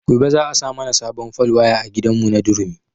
Gobe za a sa mana sabon fal waya a gidan mu na durumi